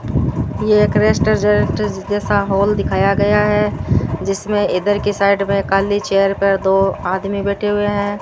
यह एक रेस्टोरेंट जैसा हॉल दिखाया गया है जिसमें इधर की साइड में काली चेयर पर दो आदमी बैठे हुए है।